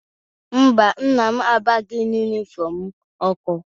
Mba, nna m agbaghị yunifọmụ m ọkụ.